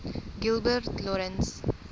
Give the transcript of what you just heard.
gilbert lawrence